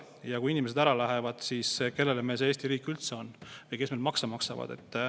Ja kui inimesed ära lähevad, siis kellele meil see Eesti riik üldse on või kes meil makse maksavad.